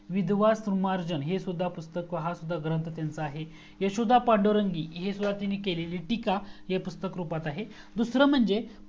दूसरा म्हणजे विद्वान सृमार्जन हा सुद्धा ग्रंथ हा सुद्धा पुस्तक त्यांचा आहे यशोदा पांडुरंगी हे केलेली टीका हे पुस्तक रुपात आहे